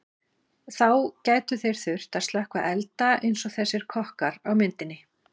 þá gætu þeir þurft að slökkva elda eins og þessir kokkar á myndinni